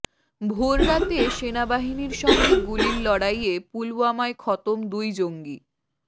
ভোররাতে সেনাবাহিনীর সঙ্গে গুলির লড়াইয়ে পুলওয়ামায় খতম দুই জঙ্গি